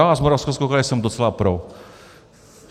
Já z Moravskoslezského kraje jsem docela pro.